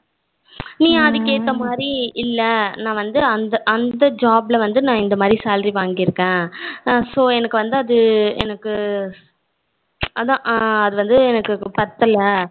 நீ அதுக்கு ஏத்த மாதிரி இல்ல நா வந்து அந்த job ல வந்து நா இந்த மாதிரி salary வங்கிருக்கேன் so எனக்கு வந்து அது எனக்கு அதான் அது வந்து எனக்கு பத்தல